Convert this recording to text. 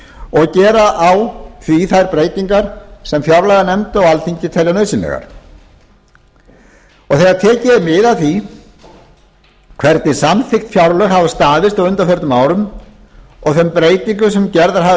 og gera á því þær breytingar sem fjárlaganefnd og alþingi telja nauðsynlegar þegar tekið er mið af því hvernig samþykkt fjárlög hafa staðist á undanförnum árum og þeim breytingum sem gerðar hafa